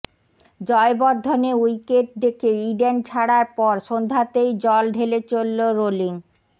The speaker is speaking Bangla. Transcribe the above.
জয়বর্ধনে উইকেট দেখে ইডেন ছাড়ার পর সন্ধ্যাতেই জল ঢেলে চলল রোলিং